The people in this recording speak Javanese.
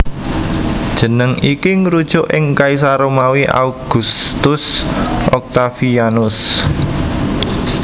Jeneng iki ngrujuk ing kaisar Romawi Augustus Octavianus